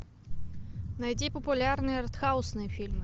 найди популярные артхаусные фильмы